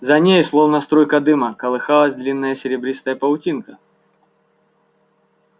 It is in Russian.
за ней словно струйка дыма колыхалась длинная серебристая паутинка